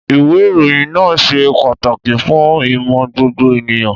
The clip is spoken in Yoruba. Ìwé ìròyìn náà ṣe pàtàkì fún ìmọ̀ gbogbo ènìyàn.